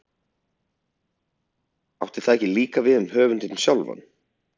Átti það ekki líka við um höfundinn sjálfan?